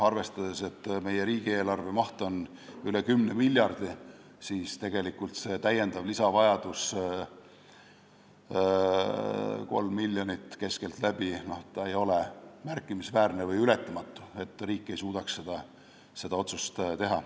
Arvestades, et meie riigieelarve maht on üle 10 miljardi, ei ole see lisavajadus, 3 miljonit keskeltläbi, märkimisväärne või ületamatu, nii et riik ei suudaks seda otsust teha.